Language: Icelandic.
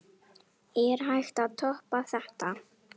Er hægt að toppa þetta?